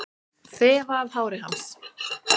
Þefa af hári hans.